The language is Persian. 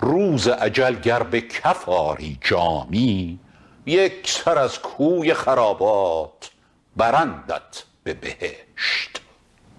روز اجل گر به کف آری جامی یک سر از کوی خرابات برندت به بهشت